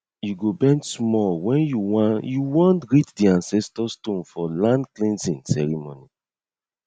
you go bend small when you wan you wan greet di ancestor stone for landcleansing ceremony